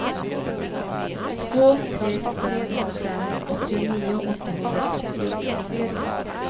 två tre fem fem åttionio åttahundratrettio